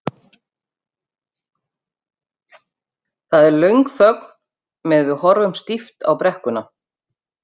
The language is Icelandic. Það er löng þögn meðan við horfum stíft á brekkuna.